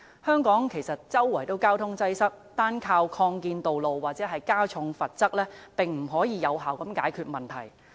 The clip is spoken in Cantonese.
香港到處也有交通擠塞，單單依靠擴建道路或加重罰則，是無法有效解決問題的。